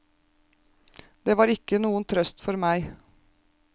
Det var ikke noen trøst for meg.